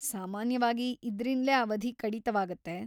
ಸಾಮಾನ್ಯವಾಗಿ ಇದ್ರಿಂದ್ಲೇ ಅವಧಿ ಕಡಿತವಾಗತ್ತೆ.